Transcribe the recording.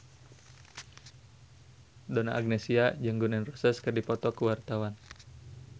Donna Agnesia jeung Gun N Roses keur dipoto ku wartawan